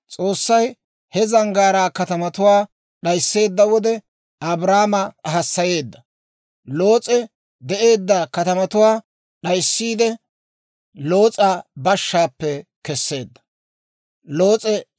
S'oossay he zanggaaraa katamatuwaa d'aysseedda wode, Abrahaama hassayeedda; Loos'e de'eedda katamatuwaa d'ayssiide Loos'a bashshaappe keseedda.